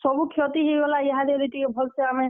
ସବୁ କ୍ଷତି ହେଇଗଲା, ଇହାଦେ ଏଦେ ଟିକେ ଭଲ୍ ସେ ଆମେ।